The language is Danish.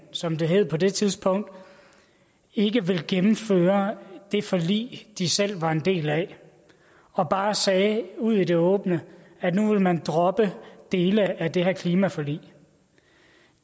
som det hed på det tidspunkt ikke ville gennemføre det forlig de selv var en del af og bare sagde ud i det åbne at nu ville man droppe dele af det her klimaforlig